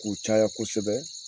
K'u caya kosɛbɛ.